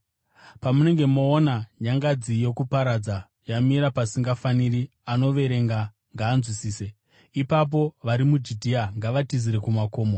“Pamunenge moona nyangadzi yokuparadza yamira paisingafaniri, anoverenga ngaanzwisise, ipapo vari muJudhea ngavatizire kumakomo.